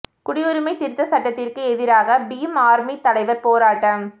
குடியுரிமை திருத்தச் சட்டத்திற்கு எதிராக பீம் ஆர்மி தலைவர் போராட்டம்